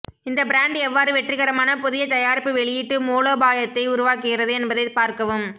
இந்த பிராண்ட் எவ்வாறு வெற்றிகரமான புதிய தயாரிப்பு வெளியீட்டு மூலோபாயத்தை உருவாக்குகிறது என்பதைப் பார்க்கவும்